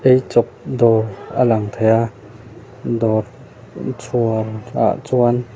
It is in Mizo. eichawp dawr a lang thei a dawr chhuar ah chuan --